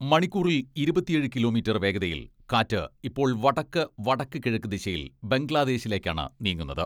മണിക്കൂറിൽ ഇരുപത്തിയേഴ് കിലോമീറ്റർ വേഗതയിൽ കാറ്റ് ഇപ്പോൾ വടക്ക്, വടക്കു കിഴക്ക് ദിശയിൽ ബംഗ്ലാദേശിലേയ്ക്കാണ് നീങ്ങുന്നത്.